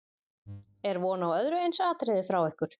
Er von á öðru eins atriði frá ykkur?